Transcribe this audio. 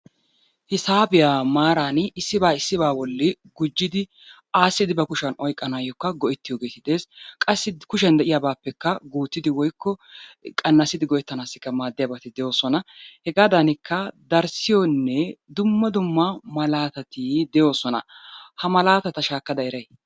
Hisaabiya maarani issibaa issiba bolli gujjidi aassidi ba kushiyan oyqqanaayookka go"ettiyoogee de'ees. Qassi kushiyan de"iyaabaappekka guuttidi woyikko qannasidi go"ettanaassi maaddiyabati de'oosona. Hegaadanikka darissiyonne dumma dumma malaatati de'oosona. Ha malaatata shaakkada eray?